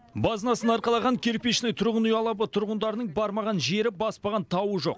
базынасын арқалаған кирпичный тұрғын үй алабы тұрғындарының бармаған жері баспаған тауы жоқ